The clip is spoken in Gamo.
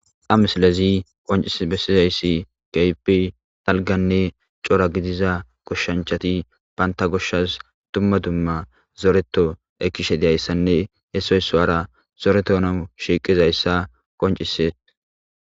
amsilezi qoncis bessizayssi gaypi talganne cora gidiza goshshanchati banta goshshas dumma dumma zoreto ekishe diayssanne hesoy so7ara zoreto nau shiiqizayssa qonciset